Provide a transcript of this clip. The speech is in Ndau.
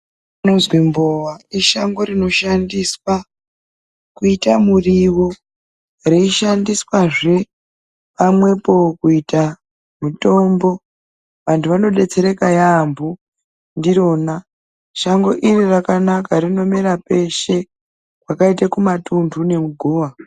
Mbowa ishango rinoshandiswa kuita muriwo reishandiswazve pamwepo kuita mutombo. Vantu vanodetsereka yaambo ndirona. Shango iri rakanaka rinomera peshe, kwaiaita Kuma tunhu nemugowa.